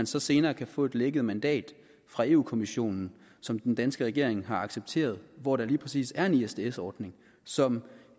så senere kan få et lækket mandat fra europa kommissionen som den danske regering har accepteret og hvor der lige præcis er en isds ordning som